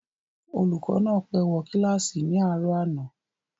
Olùkọ́ náà pé wo kílàsì ní àárò àná